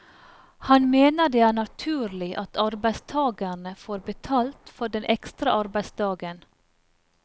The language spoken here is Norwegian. Han mener det er naturlig at arbeidstagerne får betalt for den ekstra arbeidsdagen.